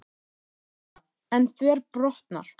Helga: En þverbrotnar?